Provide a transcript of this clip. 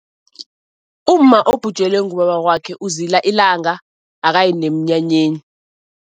Umma obhujelwe ngubaba wakwakhe uzila ilanga, akayi nemnyanyeni.